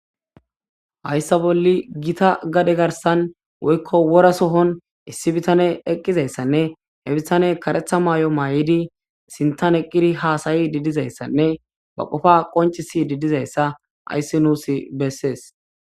Hayssa bolle gita gade garsan woykko wora sohon issi bitane eqqizayssanne he bitane karetha maay'o maay'idi sintan eqqiri haasayi didizayssanne ba qofa qoncisi didizayssa ayssi nuus bessees